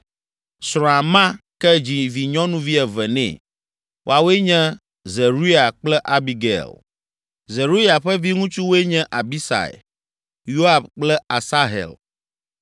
Srɔ̃a ma ke dzi vinyɔnuvi eve nɛ. Woawoe nye Zeruia kple Abigail. Zeruya ƒe viŋutsuwoe nye Abisai, Yoab kple Asahel.